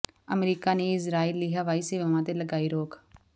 America ਨੇ Israel ਲਈ ਹਵਾਈ ਸੇਵਾਵਾਂ ਤੇ ਲਗਾਈ ਰੋਕ